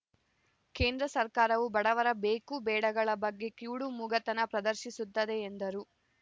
ಕೇಂದ್ರ ಸರ್ಕಾರವು ಬಡವರ ಬೇಕುಬೇಡಗಳ ಬಗ್ಗೆ ಕಿವುಡುಮೂಗತನ ಪ್ರದರ್ಶಿಸುತ್ತಿದೆ ಎಂದರು